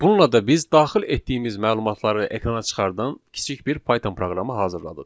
Bununla da biz daxil etdiyimiz məlumatları ekrana çıxardan kiçik bir Python proqramı hazırladıq.